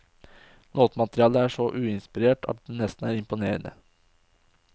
Låtmaterialet er så uinspirert at det nesten er imponerende.